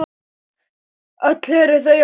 Öll eru þau á lífi.